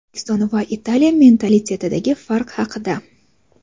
O‘zbekiston va Italiya mentalitetidagi farq haqida.